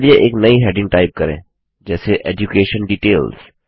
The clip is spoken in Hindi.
चलिए एक नई हेडिंग टाइप करें जैसे एड्यूकेशन डिटेल्स